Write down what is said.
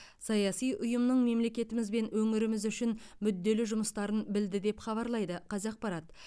саяси ұйымның мемлекетіміз бен өңіріміз үшін мүделлі жұмыстарын білді деп хабарлайды қазақпарат